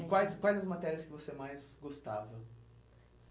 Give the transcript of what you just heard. E quais quais as matérias que você mais gostava?